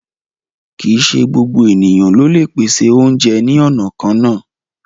Kí í ṣè gbogbo ènìyàn ló le pèsè ọ̀unjẹ ni ọna kanna